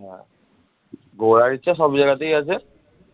হ্যাঁ, ঘোরার ইচ্ছা সব জায়গাতেই আছে